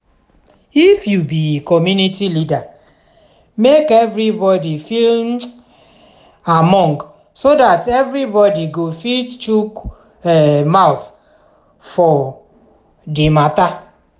if you be commumity leader make everybody feel um among so dat everybody go fit chook um mouth for um di matter